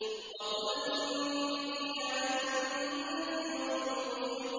وَقُلْ إِنِّي أَنَا النَّذِيرُ الْمُبِينُ